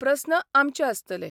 प्रस्न आमचे आसतले.